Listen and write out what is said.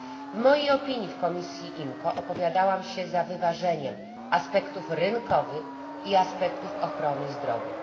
W mojej opinii w komisji IMCO opowiadałam się za wyważeniem aspektów rynkowych i aspektów ochrony zdrowia.